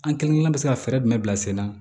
An kelenkelenna bɛ se ka fɛɛrɛ jumɛn bila sen na